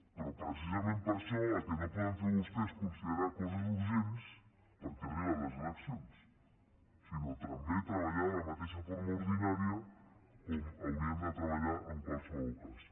però precisament per això el que no poden fer vostès és considerar coses urgents perquè arriben les eleccions sinó també treballar de la mateixa forma ordinària com hauríem de treballar en qualsevol cas